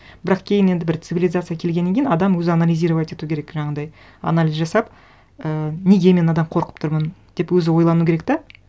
бірақ кейін енді бір цивилизация келгеннен кейін адам өзі анализировать ету керек жаңағындай анализ жасап і неге мен мынадан қорқып тұрмын деп өзі ойлануы керек те